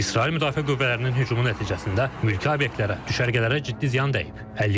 İsrail müdafiə qüvvələrinin hücumu nəticəsində mülki obyektlərə, düşərgələrə ciddi ziyan dəyib.